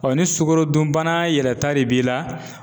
ni sukarodunbana yɛrɛ ta de b'i la.